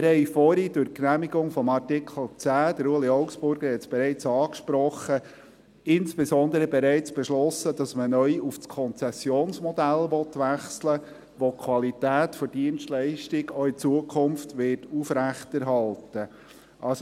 Wir haben vorhin durch die Genehmigung des Artikels 10 – Ueli Augstburger hat es bereits angesprochen – insbesondere bereits beschlossen, dass man neu auf das Konzessionsmodell wechseln will, welches die Qualität der Dienstleistung auch in Zukunft aufrechterhalten wird.